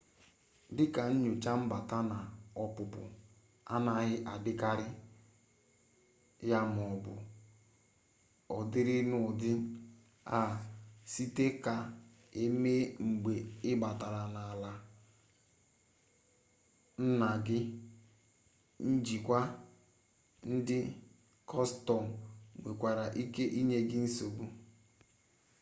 dịka nnyocha mbata na ọpụpụ anaghị adịkarị ya maọbụ ọ dịrị n'ụdị a sịkwa ka emee mgbe ị batara n'ala nna gị njikwa ndị kọstọm nwekwara ike inye nsogbu